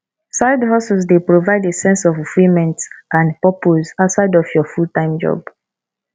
sidehustle dey provide a sense of fulfillment and purpose outside of your fulltime job